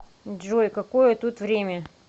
джой какое тут время